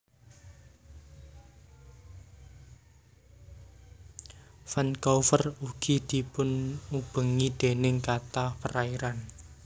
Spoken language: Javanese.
Vancouver ugi dipunubengi déning kathah perairan